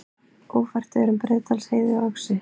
Ófært er um Breiðdalsheiði og Öxi